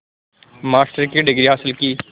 master की degree हासिल की